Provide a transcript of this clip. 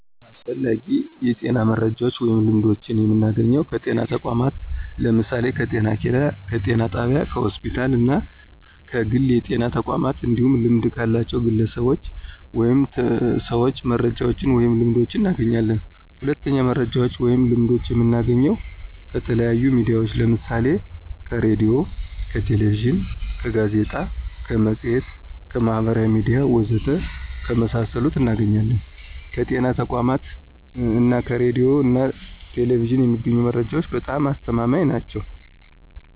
አስፈላጊ የጤና መረጃዎችን ወይም ልምዶችን የምናገኘው ከጤና ተቋማት ለምሳሌ፦ ከጤኬላ፣ ከጤና ጣቢያ፣ ከሆስፒታል እና ከግል የጤና ተቋማት እንዲሁም ልምድ ካላቸው ግለሰቦች ወይም ሰዎች መረጃዎችን ወይንም ልምዶችን እናገኛለን። ሁለተኛው መረጃዎችን ወይም ልምዶችን የምናገኘው ከተለያዩ ሚዲያዎች ለምሳሌ ከሬዲዮ፣ ከቴሌቪዥን፣ ከጋዜጣ፣ ከመፅሔት፣ ከማህበራዊ ሚዲያ ወዘተ ከመሳሰሉት እናገኛለን። ከጤና ተቋማት እና ከሬዲዮ ና ቴሌቪዥን የሚገኙ መረጃዎች በጣም አስተማማኝ ናቸው።